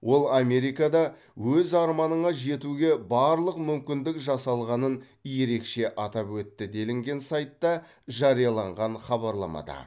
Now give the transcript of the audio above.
ол америкада өз арманыңа жетуге барлық мүмкіндік жасалғанын ерекше атап өтті делінген сайтта жарияланған хабарламада